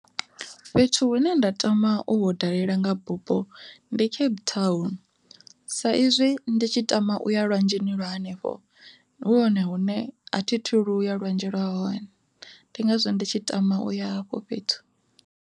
Fhethu hune nda tama u hu dalela nga bupo ndi Cape Town, sa izwi ndi tshi tama u ya lwanzheni lwa henefho hu hone hune a thi thu luya lwanzhe lwa hone ndi ngazwo ndi tshi tama u ya hafho fhethu.